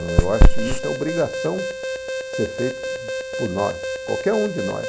Eu acho que isso é obrigação ser feito por nós, qualquer um de nós.